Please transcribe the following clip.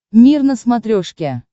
мир на смотрешке